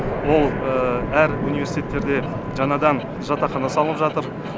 ол әр университеттерде жаңадан жатақхана салып жатыр